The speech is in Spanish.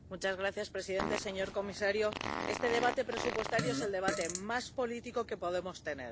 Señor presidente, señor comisario, este debate presupuestario es el debate más político que podemos tener.